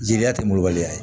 Jeliya tɛ molobaliya ye